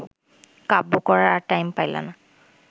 কাব্য করার আর টাইম পাইলা না